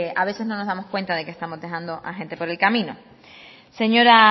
a veces no nos damos cuenta de que estamos dejando a gente por el camino señora